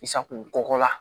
I sakonɔgɔ la